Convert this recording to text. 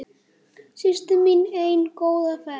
Systir mín ein, góða ferð.